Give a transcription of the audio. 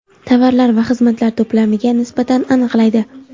tovarlar va xizmatlar to‘plamiga nisbatan aniqlaydi.